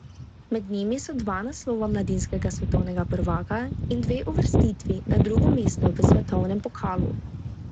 Med njimi so dva naslova mladinskega svetovnega prvaka in dve uvrstitvi na drugo mesto v svetovnem pokalu.